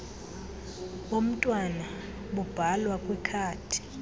bomntwana bubhalwa kwikhadi